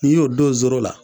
N'i y'o don zoro la